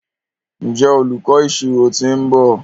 njé olùkó ìṣirò t'in nbọ?